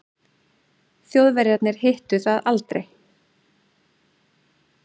Þjóðverjarnir hittu það aldrei.